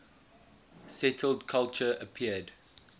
settled culture appeared